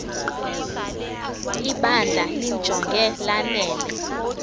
ibandla limjonge lanele